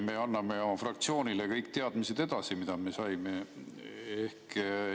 Me anname oma fraktsioonile edasi kõik teadmised, mida me saame.